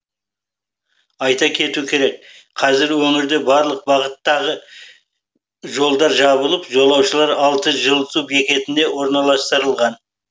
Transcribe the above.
айта кету керек қазір өңірде барлық бағыттағы жолдар жабылып жолаушылар алты жылыту бекетіне орналастырылған